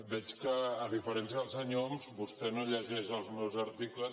veig que a diferència del senyor homs vostè no llegeix els meus articles